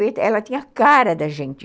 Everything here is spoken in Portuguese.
Ela tinha a cara da gente.